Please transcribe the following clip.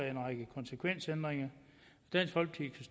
en række konsekvensændringer dansk folkeparti